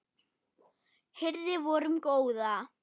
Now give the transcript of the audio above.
hirði vorum góða